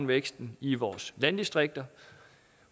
væksten i vores landdistrikter